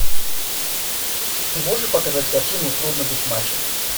ты можешь показать картину трудно быть мачо